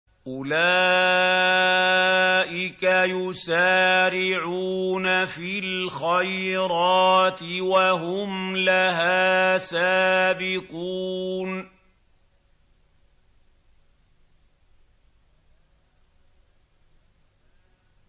أُولَٰئِكَ يُسَارِعُونَ فِي الْخَيْرَاتِ وَهُمْ لَهَا سَابِقُونَ